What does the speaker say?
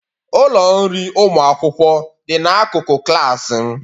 Ụlọ nri ụlọ akwụkwọ dị n'akụkụ klas m.